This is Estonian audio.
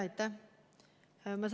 Aitäh!